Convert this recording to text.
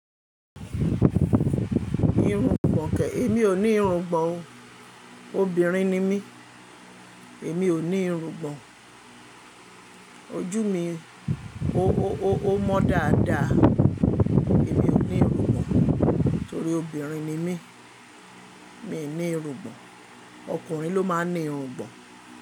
Irun gbọ̀n kẹ̀, èmi ò ní irun gbọ̀n o. Obìnrin ni mí, èmi ò ní irun gbọ̀n. Ojú mi, o, o, o mọ dáadáa. Èmi ò ní irun gbọ̀n torí obìnrin ni mí. Mi ò ní irun gbọ̀n. Ọkùnrin ló máa ń ní irun gbọ̀n.